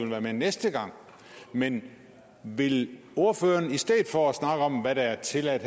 være med næste gang men vil ordføreren i stedet for at snakke om hvad der er tilladt